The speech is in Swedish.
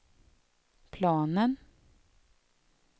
planen